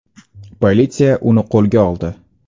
Politsiya uni qo‘lga oldi.